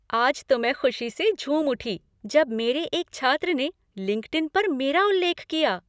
आज तो मैं ख़ुशी से झूम उठी जब मेरे एक छात्र ने लिंक्डइन पर मेरा उल्लेख किया।